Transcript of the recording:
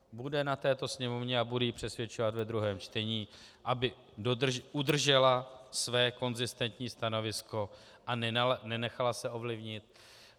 Bude na této Sněmovně, a budu ji přesvědčovat ve druhém čtení, aby udržela své konzistentní stanovisko a nenechala se ovlivnit.